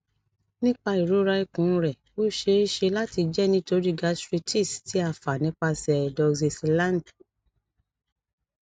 nipa irora ikun rẹ o ṣee ṣe lati jẹ nitori gastritis ti a fa nipasẹ doxycycline